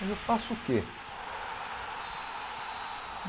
Mas eu faço o quê?